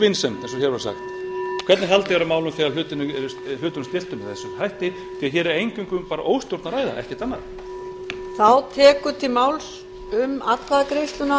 vinsemd eins og hér var sagt hvernig haldið er á málum þegar hlutunum er stillt upp með þessum hætti því að hér er eingöngu bara um óstjórn að ræða ekkert annað